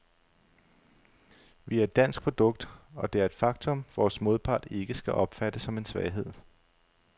Vi er et dansk produkt, og det er et faktum, vores modpart ikke skal opfatte som en svaghed.